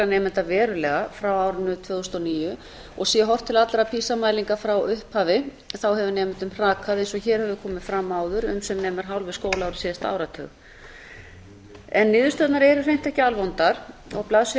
nemenda verulega frá árinu tvö þúsund og níu og sé horft til allra pisa mælinga frá upphafi hefur nemendum hrakað eins og hér hefur komið fram áður um sem nemur hálfu skólaári síðasta áratug niðurstöðurnar eru hreint ekki alvondar á blaðsíðu